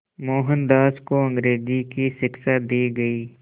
मोहनदास को अंग्रेज़ी की शिक्षा दी गई